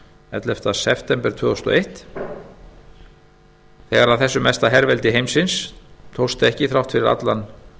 ellefta september tvö þúsund og eitt þegar þessu mesta herveldi heimsins tókst ekki þrátt fyrir allan